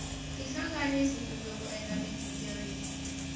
tihlanganisa kumbe ku endla mighingiriko